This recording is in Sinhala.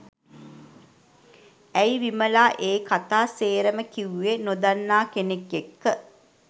ඇයි විමලා ඒ කතා සේරම කිව්වේ නොදන්නා කෙනෙක් එක්ක?